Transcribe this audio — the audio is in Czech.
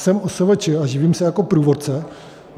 Jsem OSVČ a živím se jako průvodce.